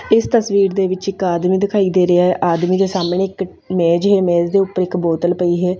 ਇਸ ਤਸਵੀਰ ਦੇ ਵਿੱਚ ਇੱਕ ਆਦਮੀ ਦਿਖਾਈ ਦੇ ਰਿਹਾ ਹੈ ਆਦਮੀ ਦੇ ਸਾਹਮਣੇ ਇੱਕ ਮੇਜ ਹੈ ਮੇਜ ਦੇ ਉੱਤੇ ਇੱਕ ਬੋਤਲ ਪਈ ਹੈ।